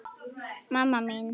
mamma mín